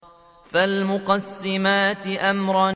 فَالْمُقَسِّمَاتِ أَمْرًا